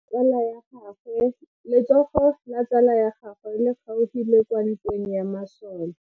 Letsogo la tsala ya gagwe le kgaogile kwa ntweng ya masole.